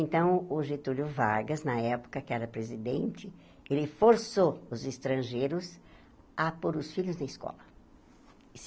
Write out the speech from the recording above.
Então, o Getúlio Vargas, na época que era presidente, ele forçou os estrangeiros a pôr os filhos na escola.